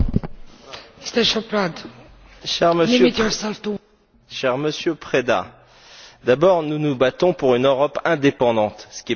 Madame la Présidente, cher Monsieur Preda, d'abord nous nous battons pour une Europe indépendante, ce qui n'est pas votre cas.